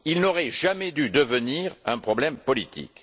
Il n'aurait jamais dû devenir un problème politique.